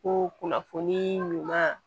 Ko kunnafoni ɲuman